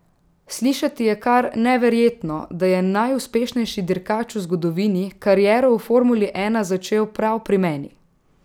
Slišati je kar neverjetno, da je najuspešnejši dirkač v zgodovini kariero v formuli ena začel prav pri meni.